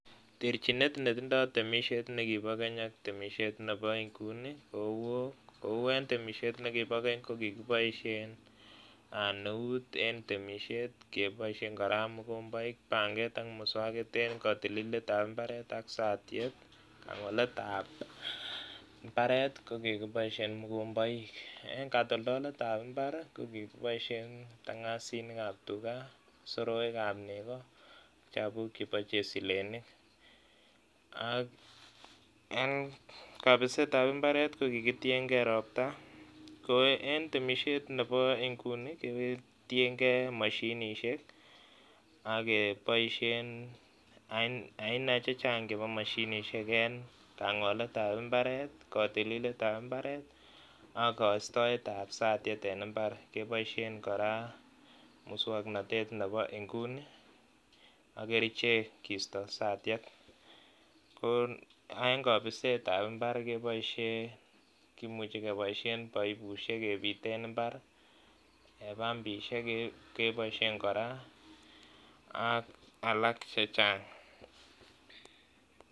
Terchinet ne kitindoi temisiet nekipo keny ak nebo nguni, kou temisiet nekibo keny kokikiposihen eut en temisiet, kepoishen kora mogombaik, panget ak muswakit eng katililetab imbaaret ak satiet ak koletab imbaaret kokikipaishen mogombaik. Eng katoltoletab imbaaret kokikipaishen kiptangasinikab tuga, soroekab neko, chapuuk chebo chesilenik ak eng kapisetab imbaaret kokikitienkei ropta. Ko eng temisiet nebo nguni ketienkee mashinisiek ak kepoishen aina chechang chebo mashinisiek eng kangoletab imbareet, katililetab imbaaret ak kaistoetab satiet eng imbaar kepoishen kora muswoknatet nebo nguni ak kerichek keisto satiet. Ko eng kapisetab imbaar kimuuchi kepoishen paipushek kepiten imbaar ak pampishek kepoishen kora ak alak chechang.